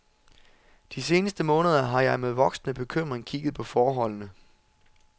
De seneste måneder har jeg med voksende bekymring kikket på forholdene.